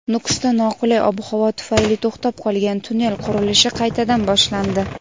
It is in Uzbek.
Nukusda noqulay ob-havo tufayli to‘xtab qolgan tunnel qurilishi qaytadan boshlandi.